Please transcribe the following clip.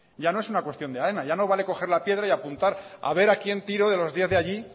ya no es una cuestión de aena ya no vale coger la piedra y apuntar a ver a quien tiro de los diez de allí